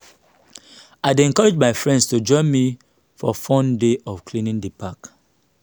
i dey encourage my friends to join me for fun day of cleaning di park.